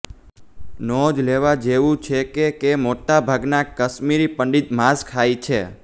નોંધ લેવા જેવુ છેકે કે મોટાભાગના કશ્મીરી પંડિત માંસ ખાય છે